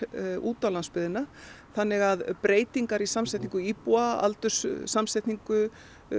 út á landsbyggðina þannig að breytingar í samsetningu íbúa aldurssamsetningu